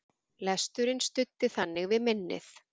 Lesturinn studdi þannig við minnið.